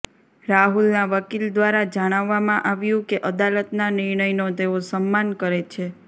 રાહુલના વકીલ ઘ્વારા જણાવવામાં આવ્યું કે અદાલતના નિર્ણયનો તેઓ સમ્માન કરે છે